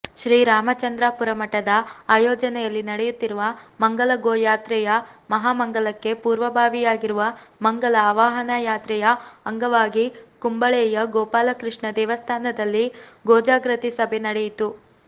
ಶ್ರೀರಾಮಚಂದ್ರಾಪುರಮಠದ ಆಯೋಜನೆಯಲ್ಲಿ ನೆಡೆಯುತ್ತಿರುವ ಮಂಗಲಗೋಯಾತ್ರೆಯ ಮಹಾಮಂಗಲಕ್ಕೆ ಪೂರ್ವಭಾವಿಯಾಗಿರುವ ಮಂಗಲ ಆವಾಹನಾಯಾತ್ರೆಯ ಅಂಗವಾಗಿ ಕುಂಬಳೆಯ ಗೋಪಾಲಕೃಷ್ಣ ದೇವಸ್ಥಾನದಲ್ಲಿ ಗೋಜಾಗೃತಿ ಸಭೆ ನೆಡೆಯಿತು